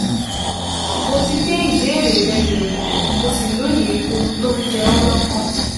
Mo ti gbé ìbéèrè rẹ yẹ̀wò, mo sì lóye ohun tó ń jẹ ọ́ lọ́kàn